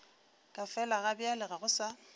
ka felagabjale ga go sa